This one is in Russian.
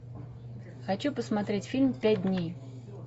хочу посмотреть фильм пять дней